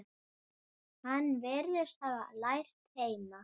Hann virðist hafa lært heima.